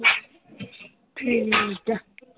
ਠੀਕ ਆ l